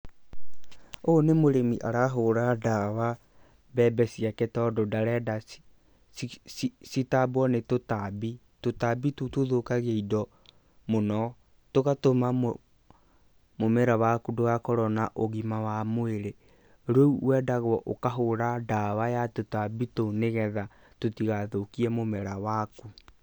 Ũyũ nĩ mũrĩmi arahũra ndawa mbembe ciake, tondũ ndarenda citambwo nĩ tũtambi. Tũtambi tũu tũthũkagia indo mũno, tũgatũma mũmera waku ndũgakorwo na ũgima wa mwĩrĩ, rĩũ wendagwo ũkahũra ndawa ya tũtambi tũu, nĩgetha tũtigathũkie mũmera waku.